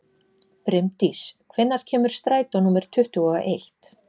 Brimdís, hvenær kemur strætó númer tuttugu og eitt?